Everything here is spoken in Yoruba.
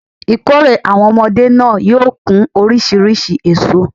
Ìkórè àwon omodé náà yóò kún orísirísi èso